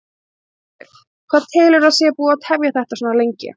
Sigríður: Hvað telurðu að sé búið að tefja þetta svona lengi?